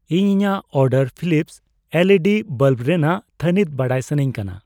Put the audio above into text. ᱤᱧ ᱤᱧᱟᱜ ᱚᱰᱟᱨ ᱯᱷᱤᱞᱤᱯᱥ ᱮᱞᱤᱰᱤ ᱵᱟᱞᱵ ᱨᱮᱱᱟᱜ ᱛᱷᱟᱱᱤᱛ ᱵᱟᱰᱟᱭ ᱥᱟᱹᱱᱟᱧ ᱠᱟᱱᱟ ᱾